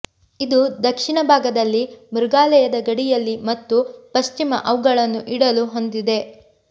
ಇದು ದಕ್ಷಿಣ ಭಾಗದಲ್ಲಿ ಮೃಗಾಲಯದ ಗಡಿಯಲ್ಲಿ ಮತ್ತು ಪಶ್ಚಿಮ ಅವುಗಳನ್ನು ಇಡಲು ಹೊಂದಿದೆ